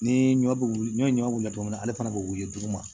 Ni ɲɔ bɛ wili n'i ye ɲɔ wili cogo min na ale fana bɛ wili duguma